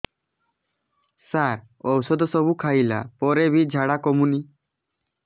ସାର ଔଷଧ ସବୁ ଖାଇଲା ପରେ ବି ଝାଡା କମୁନି